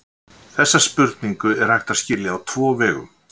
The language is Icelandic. Þessa spurningu er hægt að skilja á tvo vegu.